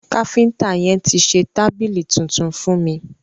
Káfínta yẹn ti ṣe tábìlì tuntun fún mi.